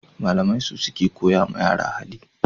Malamai su suke koya ma yara hali